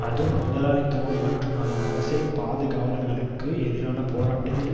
அது முதலாளித்துவம் மற்றும் அதன் அரசியல் பாதுகாவலர்களுக்கு எதிரான போராட்டத்தில்